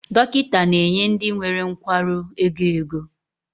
Dọkịta na-enye ndị nwere nkwarụ ego ego